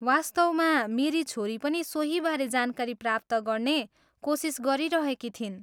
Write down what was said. वास्तवमा, मेरी छोरी पनि सोहीबारे जानकारी प्राप्त गर्ने कोसिस गरिरहेकी थिइन्।